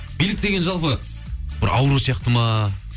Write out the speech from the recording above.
билік деген жалпы бір ауру сияқты ма